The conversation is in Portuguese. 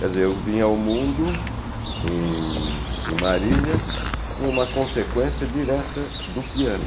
Quer dizer, eu vim ao mundo em em Marília com uma consequência direta do piano.